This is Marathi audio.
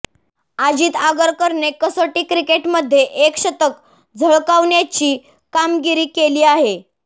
अजित आगरकरने कसोटी क्रिकेटमध्ये एक शतक झळकावण्याची कामगिरी केली आहे